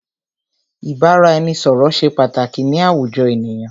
Ìbáraẹnisọ̀rọ̀ ṣé pàtàkì ni àwùjọ ènìyàn.